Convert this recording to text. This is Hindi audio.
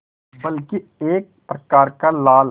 बल्कि एक प्रकार का लाल